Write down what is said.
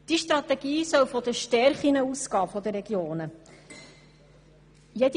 Diese Strategie soll von den Stärken der Regionen ausgehen.